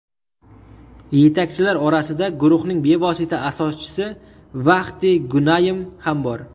Yetakchilar orasida guruhning bevosita asoschisi Vahdi Gunaym ham bor.